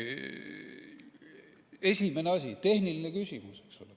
Esimene asi on tehniline küsimus.